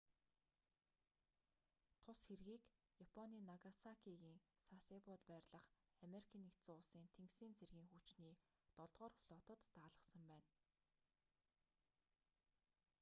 тус хэргийг японы нагасакигийн сасебод байрлах ану-ын тэнгисийн цэргийн хүчний долдугаар флотод даалгасан байна